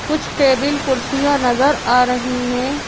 कुछ टेबल कुर्सियाँ नजर आ रही हैं।